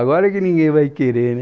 Agora que ninguém vai querer, né?